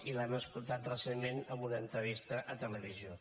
i l’hem escoltat recentment en una entrevista a televisió